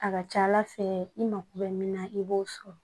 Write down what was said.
A ka ca ala fɛ i mako bɛ min na i b'o sɔrɔ